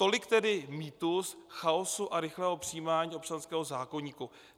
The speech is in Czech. Tolik tedy mýtus chaosu a rychlého přijímání občanského zákoníku.